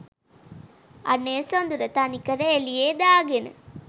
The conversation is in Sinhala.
අනේ සොඳුර තනිකර එළියේ දාගෙන